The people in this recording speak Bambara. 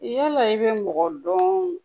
Yala i bɛ mɔgɔ dɔn